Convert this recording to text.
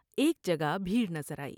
ایک جگہ بھیڑ نظر آئی ۔